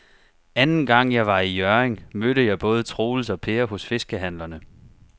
Anden gang jeg var i Hjørring, mødte jeg både Troels og Per hos fiskehandlerne.